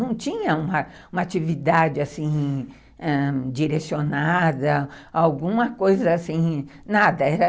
Não tinha uma uma atividade assim, ãh, direcionada, alguma coisa assim, nada.